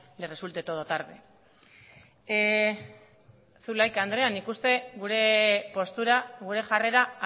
le resulte todo tarde zulaika andrea nik uste gure postura gure jarrera